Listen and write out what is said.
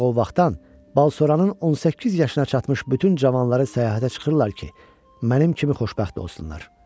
Ancaq o vaxtdan Balsoranın 18 yaşına çatmış bütün cavanları səyahətə çıxırlar ki, mənim kimi xoşbəxt olsunlar.